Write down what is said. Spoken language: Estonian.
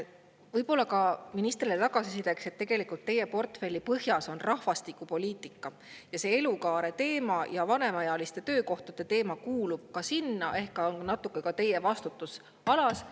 Võib-olla ka ministrile tagasisideks, et tegelikult teie portfelli põhjas on rahvastikupoliitika ja see elukaare teema ja vanemaealiste töökohtade teema kuulub ka sinna ehk on natuke ka teie vastutusalas.